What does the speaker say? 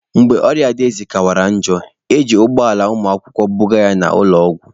Mgbe ọrịa ji Adaeze kawanyere njọ, eji ụgbọ ala ụmụakwụkwọ buga ya ụlọ ọgwụ.